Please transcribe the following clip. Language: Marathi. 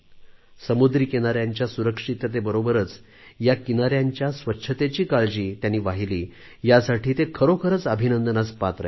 समुद्री किनाऱ्यांच्या सुरक्षेबरोबरच या किनाऱ्यांच्या स्वच्छेतेची काळजी त्यांनी वाहिली यासाठी ते खरोखरीच अभिनंदनास पात्र आहेत